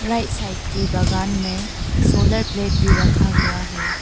Right side की बगान में सोलर प्लेट भी रखा हुआ है।